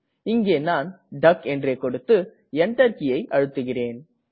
இங்கே நான் டக் என்றே கொடுத்து Enter கீயை அழுத்துகிறேன்